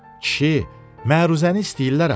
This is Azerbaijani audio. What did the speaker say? Kişi, məruzəni istəyirlər axı.